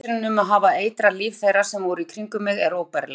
Tilhugsunin um að hafa eitrað líf þeirra sem voru í kringum mig er óbærileg.